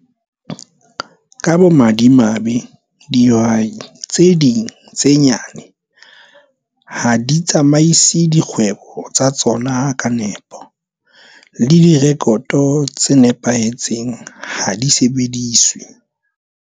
Ka bomadfimabe, dihwai tse ding tse nyane ha di tsamaise dikgwebo tsa tsona ka nepo, le direkoto tse nepahetseng ha di sebediswe.